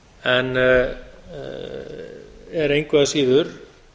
en er engu að síður